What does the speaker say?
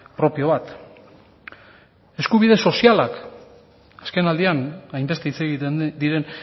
propio bat eskubide sozialak azkenaldian hainbeste hitz egiten diren